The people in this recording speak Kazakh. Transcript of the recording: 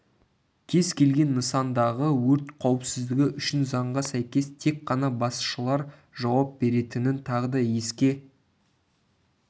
кез келген нысандағы өрт қауіпсіздігі үшін заңға сәйкес тек қана басшылар жауап беретінін тағы да еске